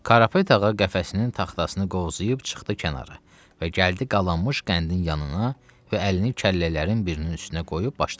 Karapet ağa qəfəsinin taxtasını qovzayıb çıxdı kənara və gəldi qalanmış qəndin yanına və əlini kəllələrin birinin üstünə qoyub başladı.